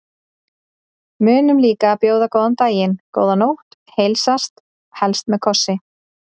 Munum líka að bjóða góðan dag, góða nótt og heilsast, helst með kossi.